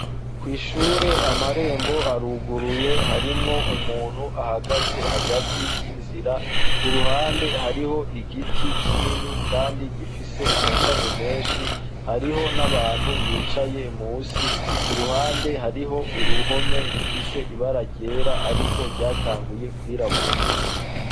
Kw' ishure amarembo aruguruye, harimwo umuntu ahagaze hagati y'inzira . Ku ruhande hariho igiti kinini kandi gifise amashami menshi . Hariho n'abantu bicaye munsi; ku ruhande hariho uruhome rufise ibara ryera ariko ryatanguye kwirabura.